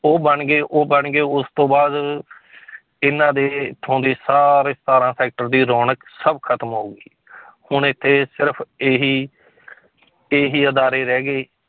ਉਹ ਬਣ ਗਏ, ਉਹ ਬਣ ਗਏ ਉਸ ਤੋਂ ਬਾਅਦ ਇਹਨਾਂ ਦੇ ਇੱਥੋਂ ਦੇ ਸਾਰੇ ਸਤਾਰਾਂ sector ਦੀ ਰੌਣਕ ਸਭ ਖਤਮ ਹੋ ਗਈ ਹੁਣ ਇੱਥੇ ਸਿਰਫ਼ ਇਹੀ ਇਹੀ ਅਦਾਰੇ ਰਹਿ ਗਏ